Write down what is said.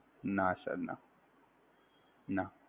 ના sir ના, ના